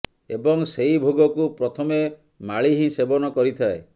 ଏବଂ ସେହି ଭୋଗକୁ ପ୍ରଥମେ ମାଳି ହିଁ ସେବନ କରିଥାଏ